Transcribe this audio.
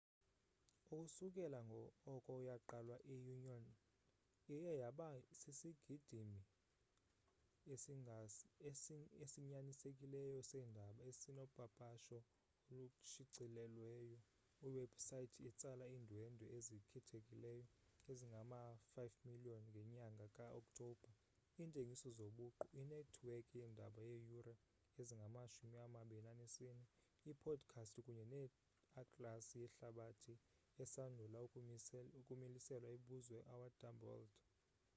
ukusukela oko yaqalwa i-onion iye yaba sisigidimi esinyanisekileyo seendaba esinopapasho olushicilelweyo iwebhusayithi etsala iindwendwe ezikhethekileyo ezingama-5,000,000 ngenyanga ka-okthobha iintengiso zobuqu inethiwekhi yeendaba yeeyure ezingama-24 iipodikhasti kunye neatlasi yehlabathi esandula ukumiliselwa ebizwa our dumb world